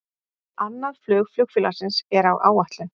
Annað flug flugfélagsins er á áætlun